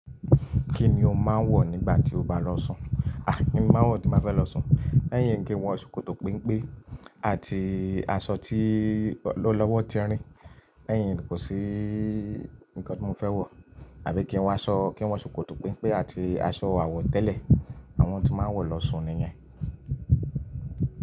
Kíni ó máa ń wọ̀ nígbà tí o bá lọ́ sùn? À! Kíni màá ń wọ̀ tí mo bá fẹ́ lọ́ sùn? Le yín kì ń wọ ṣòkòtò pempe àti aṣọ tí ọ́lọ́wọ́ ti rìn. Ẹ́ yín kò sí nǹkan tí mo fẹ́ wọ̀ àbí kí n wọ aṣọ, kí n wọ ṣòkòtò pínpín àti aṣọ àwọ̀tẹ́lẹ̀, àwọn tí màá ń wọ̀ lọ́ sùn nìyẹn.